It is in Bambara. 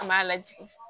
An b'a lajigin